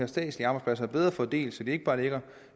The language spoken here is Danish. statslige arbejdspladser bedre fordelt så de ikke bare ligger